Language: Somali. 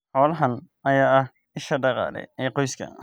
Xoolahan ayaa ah isha dhaqaale ee qoyska.